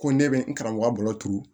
Ko ne bɛ n karamɔgɔ balo turu